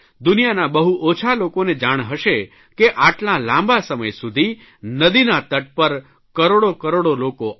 દુનિયાના બહુ ઓછા લોકોને જાણ હશે કે આટલા બધા લાંબા સમય સુધી નદીના તટ પર કરોડો કરોડો લોકો આવે